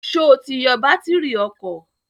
Sọ ti yọ bátírì ọkọ̀?